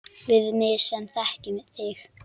Við mig sem þekki þig.